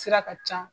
Sira ka ca